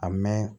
A mɛn